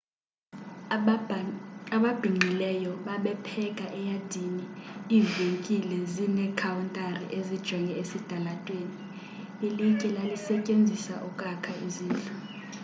ababhinqileyo babepheka eyadini ivenkile zinekhawuntari ezijonge esitalatweni ilitye lalisetyenziswa ukwakha izindlu